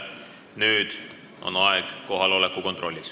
Nüüd on aeg teha kohaloleku kontroll.